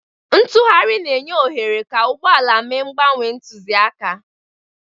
Ntugharị na-enye ohere ka ụgbọ ala mee mgbanwe ntụzịaka.